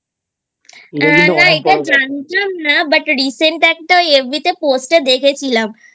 না না এটা জানতাম না But Recent একটা FB তে Post এ দেখেছিলাম